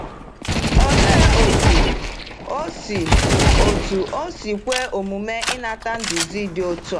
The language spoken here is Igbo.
Olee otú o si otú o si kwe omume inata nduzi dị otu a?